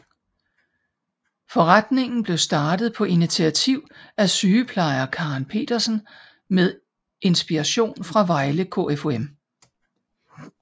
Foreningen blev startet på initiativ af sygeplejer Karen Petersen med inspiration fra Vejle KFUM